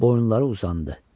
Boyunları uzandı.